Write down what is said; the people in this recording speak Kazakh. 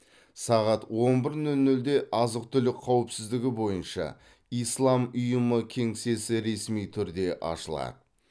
сағат он бір нөл нөлде азық түлік қауіпсіздігі бойынша ислам ұйымы кеңсесі ресми түрде ашылады